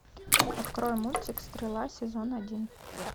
открой мультик стрела сезон один